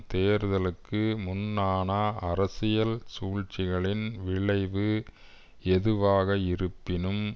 தேர்தலுக்கு முன்னான அரசியல் சூழ்ச்சிகளின் விளைவு எதுவாக இருப்பினும்